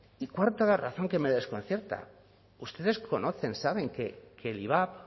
y cuarta razón que me desconcierta ustedes conocen saben que el ivap